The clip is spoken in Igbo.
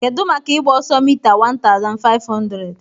Kedu maka ịgba ọsọ mita 1500?